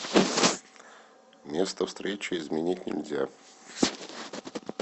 место встречи изменить нельзя